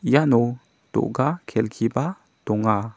iano do·ga kelkiba donga.